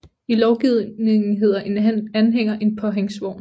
I lovgivningen hedder en anhænger en påhængsvogn